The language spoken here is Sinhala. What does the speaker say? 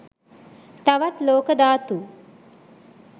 තවත් ලෝක ධාතු